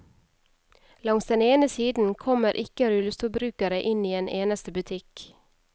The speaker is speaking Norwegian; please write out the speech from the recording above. Langs den ene siden kommer ikke rullestolbrukere inn i en eneste butikk.